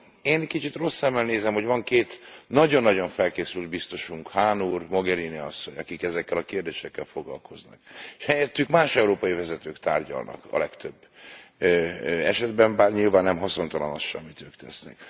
Én kicsit rossz szemmel nézem, hogy van két nagyon nagyon felkészült biztosunk, Hahn úr és Mogherini asszony, akik ezekkel a kérdésekkel foglalkoznak, és helyettük más európai vezetők tárgyalnak a legtöbb esetben, bár nyilván nem haszontalan az sem, amit ők tesznek.